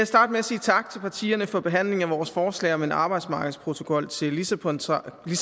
starte med at sige tak til partierne for behandlingen af vores forslag om en arbejdsmarkedsprotokol til lissabontraktaten